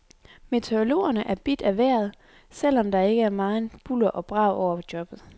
Meteorologerne er bidt af vejret, selv om der ikke er meget bulder og brag over jobbet.